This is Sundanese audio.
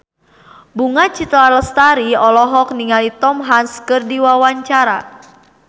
Bunga Citra Lestari olohok ningali Tom Hanks keur diwawancara